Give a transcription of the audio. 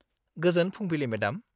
-गोजोन फुंबिलि, मेडाम।